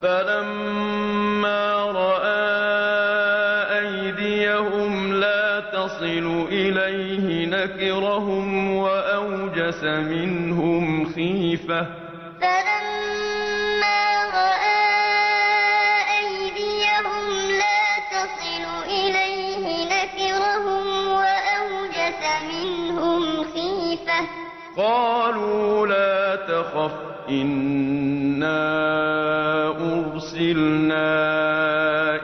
فَلَمَّا رَأَىٰ أَيْدِيَهُمْ لَا تَصِلُ إِلَيْهِ نَكِرَهُمْ وَأَوْجَسَ مِنْهُمْ خِيفَةً ۚ قَالُوا لَا تَخَفْ إِنَّا أُرْسِلْنَا إِلَىٰ قَوْمِ لُوطٍ فَلَمَّا رَأَىٰ أَيْدِيَهُمْ لَا تَصِلُ إِلَيْهِ نَكِرَهُمْ وَأَوْجَسَ مِنْهُمْ خِيفَةً ۚ قَالُوا لَا تَخَفْ إِنَّا أُرْسِلْنَا